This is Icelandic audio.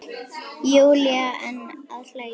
Júlía enn að hlæja.